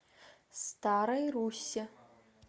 старой руссе